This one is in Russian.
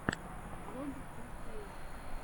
влог стс